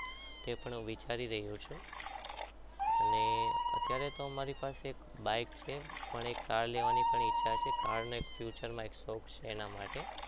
તે પણ વિચારી રહ્યો છું અને અત્યારે તો અમારી પાસે આ એક છે પણ એક car લેવાની પણ ઈચ્છા છે car ની future માં export છે એના માટે